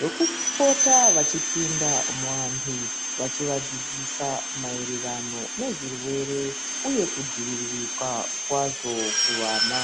wekupota vachipinda muantu vachivadzidzisa maererano nezvirwere uye kudziviririka kwazvo kuvana.